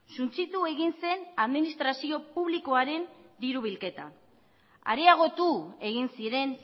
suntsitu egin zen administrazio publikoaren diru bilketa areagotu egin ziren